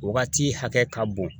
Wagati hakɛ ka bon